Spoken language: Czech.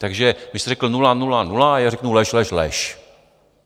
Takže vy jste řekl nula, nula, nula a já řeknu lež, lež, lež.